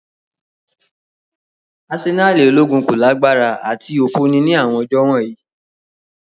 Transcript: Asenali ologun ko lagbara ati ofo ni awọn ọjọ wọnyi.